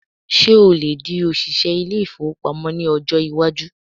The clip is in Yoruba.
Ṣé o lè di òṣìṣẹ ilé-ìfowópamọ́ ní ọjọ́ iwájú?